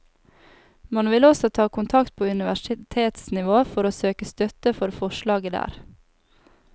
Man vil også ta kontakt på universitetsnivå for å søke støtte for forslaget der.